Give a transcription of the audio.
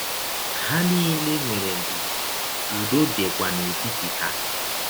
Ha niile nwere ndidi, ụdọ dịkwa n’etiti ha.